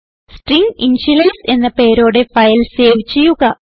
string initialise എന്ന പേരോടെ file save ചെയ്യുക